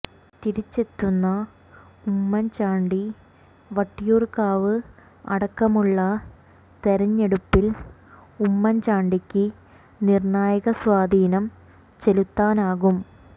തിരിച്ചെത്തുന്ന ഉമ്മൻ ചാണ്ടി വട്ടിയൂർകാവ് അടക്കമുള്ള തെരഞ്ഞെടുപ്പിൽ ഉമ്മൻ ചാണ്ടിക്ക് നിർണ്ണായക സ്വാധീനം ചെലുത്താനാകും